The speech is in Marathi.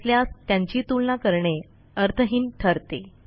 नसल्यास त्यांची तुलना करणे अर्थहीन ठरते